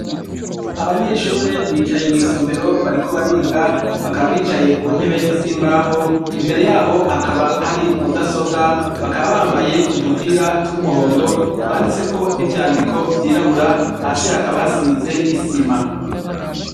Abanyeshure bicaye mw’isomero bariko bariga, bakaba bicaye ku ntebe z’imbaho, imbere yabo hakaba hari umudasobwa bakaba bambaye udupira tw’umuhondo twanditseko n’ivyandiko vy’irabura, hasi hakaba hasize isima.